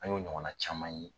An y'o ɲɔgɔn na caman ye.